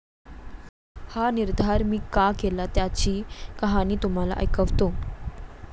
हा निर्धार मी का केला त्याची कहाणी तुम्हाला ऐकवतो.